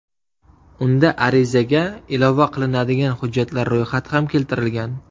Unda arizaga ilova qilinadigan hujjatlar ro‘yxati ham keltirilgan.